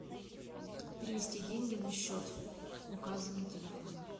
перевести деньги на счет указанный телефона